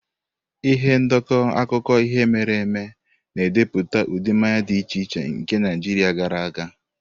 Ihe ndekọ akụkọ ihe mere eme na-edepụta ụdị mmanya dị iche iche nke Naijiria gara aga.